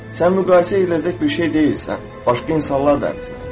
Sən müqayisə ediləcək bir şey deyilsən, başqa insanlar da həmçinin.